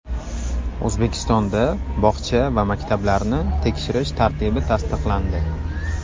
O‘zbekistonda bog‘cha va maktablarni tekshirish tartibi tasdiqlandi.